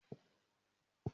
N óò di gbẹ́nàgbẹ́nà ní òkè òkun